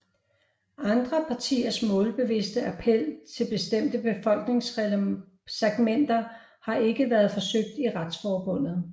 Andre partiers målbevidste appel til bestemte befolkningssegmenter har ikke været forsøgt af Retsforbundet